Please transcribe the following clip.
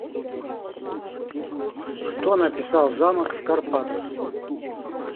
кто написал замок в карпатах